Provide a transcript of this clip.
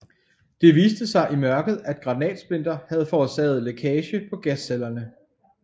Det viste sig i mørket at granatsplinter havde forårsaget lækage på gascellerne